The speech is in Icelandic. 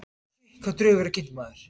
Engin drög verið kynnt